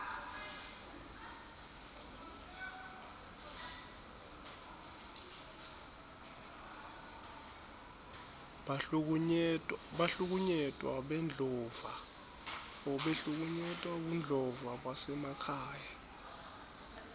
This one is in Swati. bahlukunyetwa bebudlova basemakhaya